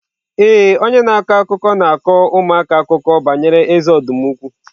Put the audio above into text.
Ee, onye na-akọ akụkọ na-akọ ụmụaka akụkọ banyere eze ọdụm ukwu.